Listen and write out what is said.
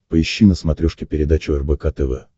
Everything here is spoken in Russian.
поищи на смотрешке передачу рбк тв